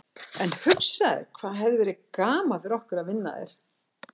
En hugsaðu þér hvað hefði verið gaman fyrir okkur að vinna þær.